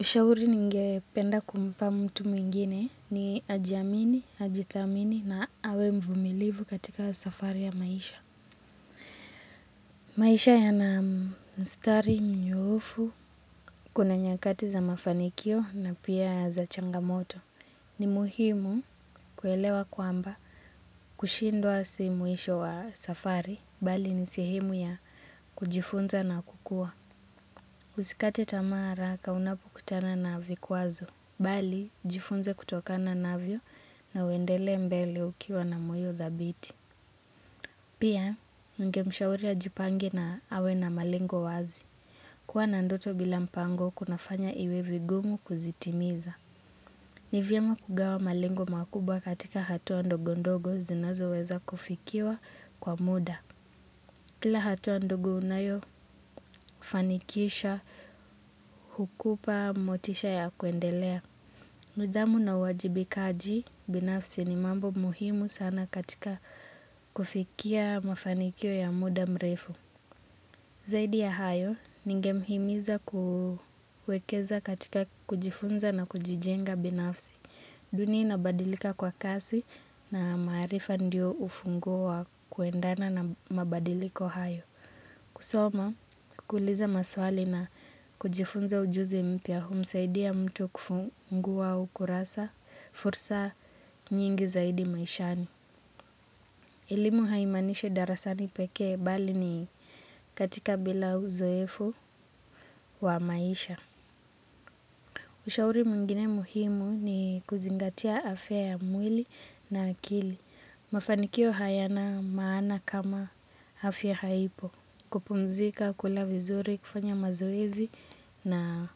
Ushauri ningependa kumpa mtu mwingine ni ajiamini, ajithamini na awe mvumilivu katika safari ya maisha. Maisha yana mstari mnyoofu, kuna nyakati za mafanikio na pia za changamoto. Ni muhimu kuelewa kwamba kushindwa si mwisho wa safari, bali ni sehemu ya kujifunza na kukua. Usikate tamaa haraka unapokutana na vikwazo, bali jifunze kutokana na navyo na uendelee mbele ukiwa na moyo thabiti. Pia ningemshauri ajipange na awe na malengo wazi, kuwa na ndoto bila mpango kunafanya iwe vigumu kuzitimiza. Ni vyema kugawa malengo makubwa katika hatua ndogo ndogo zinazoweza kufikiwa kwa muda. Kila hatua ndogo unayofanikisha, hukupa motisha ya kuendelea. Nidhamu na uwajibikaji, binafsi ni mambo muhimu sana katika kufikia mafanikio ya muda mrefu. Zaidi ya hayo, ningemhimiza kuwekeza katika kujifunza na kujijenga binafsi. Dunia inabadilika kwa kasi na maarifa ndio ufunguo wa kuendana na mabadiliko hayo. Kusoma, kuuliza maswali na kujifunza ujuzi mpya humsaidia mtu kufungua ukurasa fursa nyingi zaidi maishani. Elimu haimaanishi darasani peke bali ni katika bila uzoefu wa maisha. Ushauri mwingine muhimu ni kuzingatia afya ya mwili na akili. Mafanikio hayana maana kama afya haipo. Kupumzika, kula vizuri, kufanya mazoezi na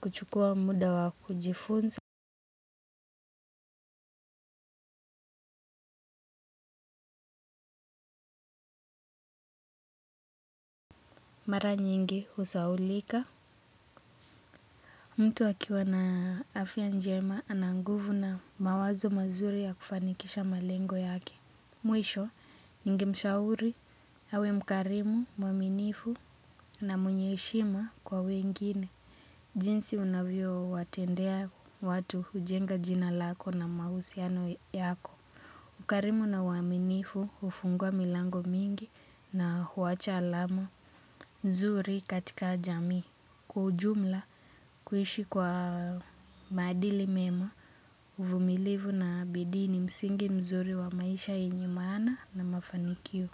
kuchukua muda wa kujifunza. Mara nyingi husahaulika. Mtu akiwa na afya njema ana nguvu na mawazo mazuri ya kufanikisha malengo yake. Mwisho, ningemshauri, awe mkarimu, mwaminifu na mwenye heshima kwa wengine. Jinsi unavyowatendea watu hujenga jina lako na mahusiano yako. Ukarimu na uaminifu hufungua milango mingi na huwacha alama nzuri katika jamii. Kwa ujumla kuishi kwa maadili mema uvumilivu na bidii ni msingi mzuri wa maisha yenye maana na mafanikio.